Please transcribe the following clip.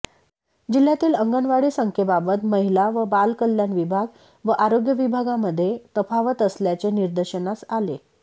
जिह्यातील अंगणवाडी संख्येबाबत महिला व बाल कल्याण विभाग व आरोग्य विभागामध्ये तफावत असल्याचे निदर्शनास आले